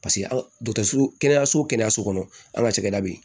Paseke an ka dɔkitɛriso kɛnɛyaso kɛnɛyaso kɔnɔ an ka cakɛda bɛ yen